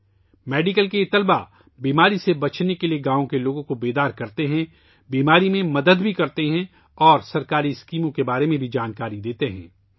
یہ میڈیکل طلباء گاؤں کے لوگوں کو بیماری سے بچنے کے لئے آگاہ کرتے ہیں، بیماری میں مدد بھی کرتے ہیں اور سرکاری اسکیموں کے بارے میں بھی جانکاری دیتے ہیں